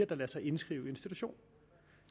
der lader sig indskrive i institution